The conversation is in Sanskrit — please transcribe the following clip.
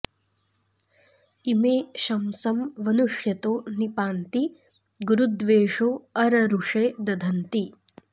इमे शंसं वनुष्यतो नि पान्ति गुरु द्वेषो अररुषे दधन्ति